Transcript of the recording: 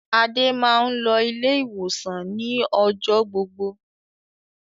Adé máa ń lọ ilé-ìwòsàn ni ọjọ́ gbogbo.